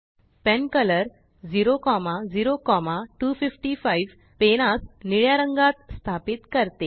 pen colour 00255पेनासनिळ्यारंगात स्थापित करते